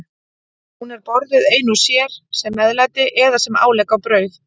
Hún er borðuð ein og sér, sem meðlæti eða sem álegg á brauð.